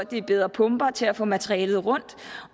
bedre pumper til at få materialet rundt